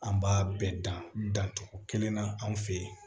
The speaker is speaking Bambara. An b'a bɛɛ dan dan cogo kelen na anw fe yen